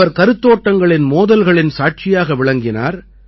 அவர் கருத்தோட்டங்களின் மோதல்களின் சாட்சியாக விளங்கினார்